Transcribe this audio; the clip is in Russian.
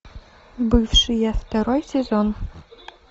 бывшие второй сезон